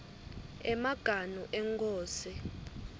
emaganu enkhosi